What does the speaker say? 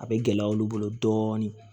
A bɛ gɛlɛya olu bolo dɔɔnin